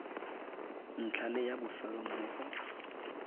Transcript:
ntlha le ya bofelo mmogo